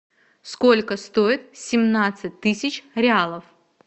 сколько стоит семнадцать тысяч реалов